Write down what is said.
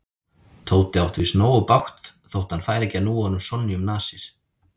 Tóti átti víst nógu bágt þótt hann færi ekki að núa honum Sonju um nasir.